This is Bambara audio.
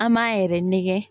An m'a yɛrɛ nɛgɛn